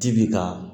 Ji bi ka